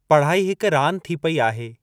पढ़ाई हिक रांदि थी पेई आहे।